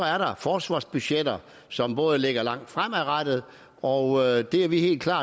er der forsvarsbudgetter som rækker langt fremad og det er vi helt klar